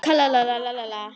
Hvernig varði ég vítið?